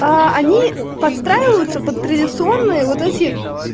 а они подстраиваются под традиционные вот эти